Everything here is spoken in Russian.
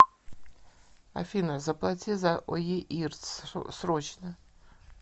афина заплати за оеирц срочно